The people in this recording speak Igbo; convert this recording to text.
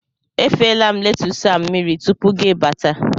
Efela m letus a mmiri tupu gị bata